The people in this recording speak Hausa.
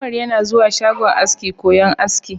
Umar yana zuwa shagon aski koyon aski.